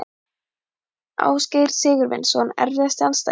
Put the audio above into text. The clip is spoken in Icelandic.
Ásgeir Sigurvinsson Erfiðasti andstæðingur?